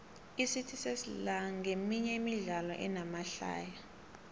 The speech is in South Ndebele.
icity sesla nqeminye yemidlalo enamahlaya